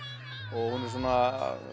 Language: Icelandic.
og hún er svona